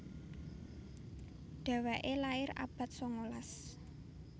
Dhéwéké lair abad sangalas